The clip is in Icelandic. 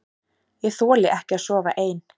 Ég þoli ekki að sofa ein.